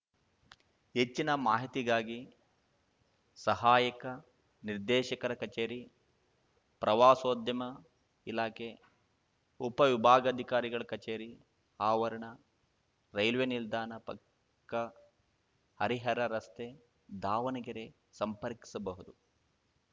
ಹೆಚ್ಚಿನ ಮಾಹಿತಿಗಾಗಿ ಸಹಾಯಕ ನಿರ್ದೇಶಕರ ಕಚೇರಿ ಪ್ರವಾಸೋದ್ಯಮ ಇಲಾಖೆ ಉಪ ವಿಭಾಗಾಧಿಕಾರಿಗಳ ಕಚೇರಿ ಆವರಣ ರೈಲ್ವೇ ನಿಲ್ದಾಣ ಪಕ್ಕ ಹರಿಹರ ರಸ್ತೆ ದಾವಣಗೆರೆ ಸಂಪರ್ಕಿಸಬಹುದು